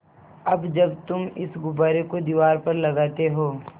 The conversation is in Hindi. अब जब तुम इस गुब्बारे को दीवार पर लगाते हो